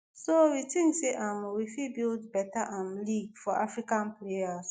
so we tink say um we fit build beta um league for african players."